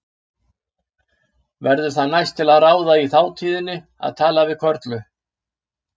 Verður það næst til ráða í þátíðinni að tala við Körlu.